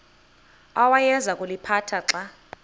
awayeza kuliphatha xa